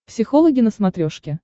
психологи на смотрешке